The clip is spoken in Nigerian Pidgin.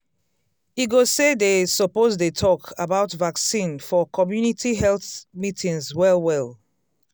e go say dey suppose dey talk about vaccine for community health meetings well well.